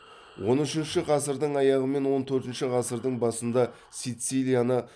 он үшінші ғасырдың аяғы мен он төртінші ғасырдың басында сицилияны